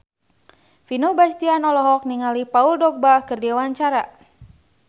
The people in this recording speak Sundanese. Vino Bastian olohok ningali Paul Dogba keur diwawancara